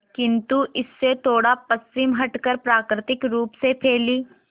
किंतु इससे थोड़ा पश्चिम हटकर प्राकृतिक रूप से फैली